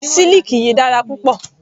Siliki yìí dára púpọ̀.